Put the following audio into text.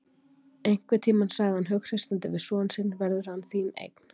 Einhvern tímann, sagði hann hughreystandi við son sinn verður hann þín eign.